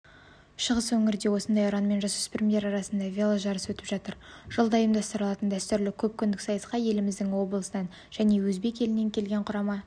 шығыс өңірде осындай ұранмен жасөспірімдер арасында веложарыс өтіп жатыр жылда ұйымдастырылатын дәстүрлі көпкүндік сайысқа еліміздің облысынан және өзбек елінен келген құрама